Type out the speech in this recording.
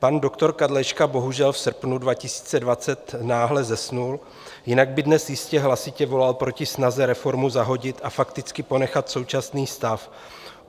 Pan doktor Kadlečka bohužel v srpnu 2020 náhle zesnul, jinak by dnes jistě hlasitě volal proti snaze reformu zahodit a fakticky ponechat současný stav.